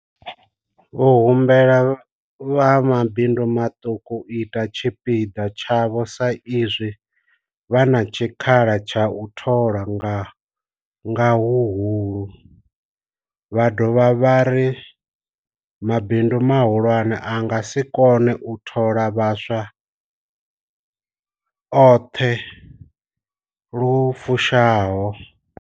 Vho humbela vha mabindu maṱuku u ita tshipiḓa tshavho sa izwi vha na tshikhala tsha u thola nga huhulu, vha dovha vha ri mabindu mahulwane a nga si kone u thola vhaswa a oṱhe lu fushaho.